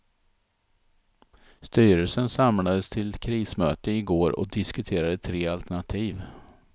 Styrelsen samlades till krismöte i går och diskuterade tre alternativ.